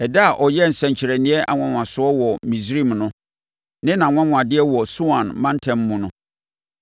ɛda a ɔyɛɛ nsɛnkyerɛnneɛ nwanwasoɔ wɔ Misraim no ne nʼanwanwadeɛ wɔ Soan mantam mu no.